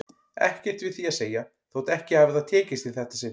Ekkert við því að segja þótt ekki hafi það tekist í þetta sinn.